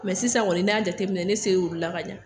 Mɛ sisan kɔni n'an y'a jateminɛ ne sera ula ka ɲɛ